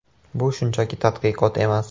Bu shunchaki tadqiqot emas.